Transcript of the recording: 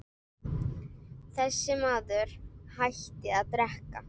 Þessi maður hætti að drekka.